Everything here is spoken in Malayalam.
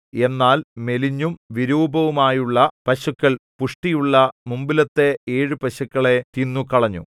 എന്നാൽ മെലിഞ്ഞും വിരൂപമായുമുള്ള പശുക്കൾ പുഷ്ടിയുള്ള മുമ്പിലത്തെ ഏഴു പശുക്കളെ തിന്നുകളഞ്ഞു